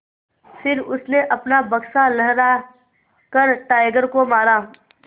फिर उसने अपना बक्सा लहरा कर टाइगर को मारा